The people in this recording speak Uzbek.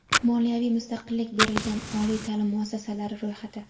Moliyaviy mustaqillik berilgan oliy ta’lim muassasalari ro‘yxati.